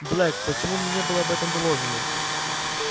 блэк почему мне не было об этом доложено